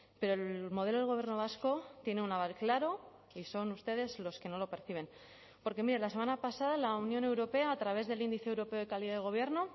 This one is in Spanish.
pero el modelo del gobierno vasco tiene un aval claro y son ustedes los que no lo perciben porque mire la semana pasada la unión europea a través del índice europeo de calidad de gobierno